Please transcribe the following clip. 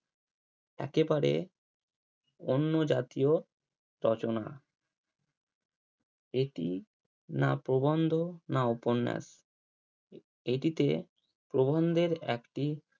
একেবারে অন্য জাতীয় রচনা এটি না প্রবন্ধ না উপন্যাস এটিতে প্রবন্ধের একটি